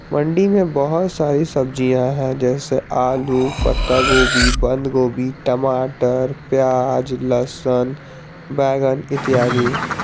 मंडी में बहुत सारी सब्जियां है जैसे आलू पत्ता गोभी बंद गोभी टमाटर प्याज लहसन बैगन इत्यादि।